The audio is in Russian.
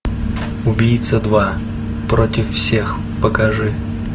убийца два против всех покажи